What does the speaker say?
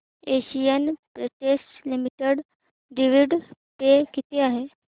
Asian Paints Limited dividend pay किती आहे